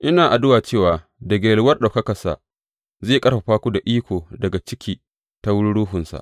Ina addu’a cewa daga yalwar ɗaukakarsa zai ƙarfafa ku da iko daga ciki ta wurin Ruhunsa.